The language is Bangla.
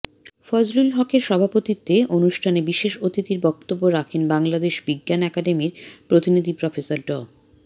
ফজলুল হকের সভাপতিত্বে অনুষ্ঠানে বিশেষ অতিথির বক্তব্য রাখেন বাংলাদেশ বিজ্ঞান একাডেমির প্রতিনিধি প্রফেসর ড